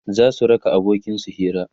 zasu raka abokin su Hira